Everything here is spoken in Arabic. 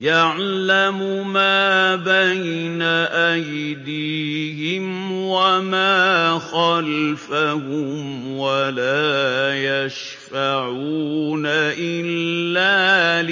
يَعْلَمُ مَا بَيْنَ أَيْدِيهِمْ وَمَا خَلْفَهُمْ وَلَا يَشْفَعُونَ إِلَّا